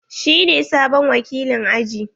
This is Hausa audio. Shi ne sabon wakilin aji.